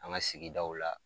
An ŋa sigidaw la